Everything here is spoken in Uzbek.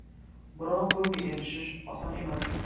Biroq bunga erishish oson emas.